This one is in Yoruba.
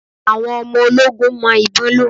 Àwọn ọmọ ológun mọ ìbon lò.